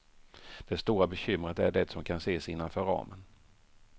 Det stora bekymret är det som kan ses innanför ramen.